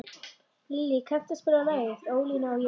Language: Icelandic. Lillý, kanntu að spila lagið „Ólína og ég“?